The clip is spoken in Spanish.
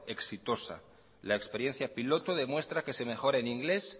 exitosa la experiencia piloto demuestra que se mejora en inglés